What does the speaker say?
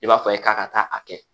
I b'a fɔ a ye k'a ka taa a kɛ